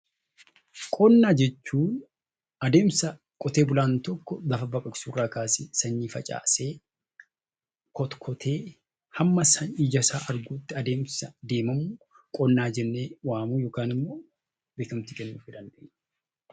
Qonna jechuun adeemsa qote bulaan tokko lafa baqaqsuudhaa kaasee, sanyii facaasee, kotkotee, hamma ija isaa argutti adeemsa deemamu 'Qonnaa' jennee waamuu yookiin immoo beekamtii kennuu fi dandeenya.